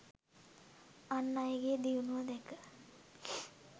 අන් අයගේ දියුණුව දැක